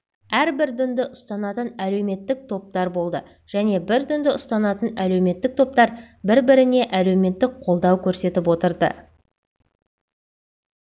әрбір дінді ұстанатын әлеуметтік топтар болды және бір дінді ұстанатын әлеуметтік топтар бір-біріне әлеуметтік қолдау көрсетіп отырды